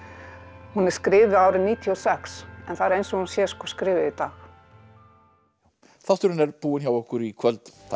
hún er skrifuð árið níutíu og sex en það er eins og hún sé skrifuð í dag þátturinn er búinn hjá okkur í kvöld takk fyrir